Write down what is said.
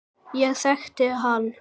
Ég þekkti hann